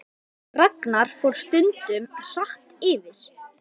Ragnar fór stundum hratt yfir.